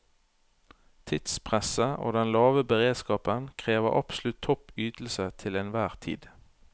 Tidspresset og den lave beredskapen krever absolutt topp ytelse til enhver tid.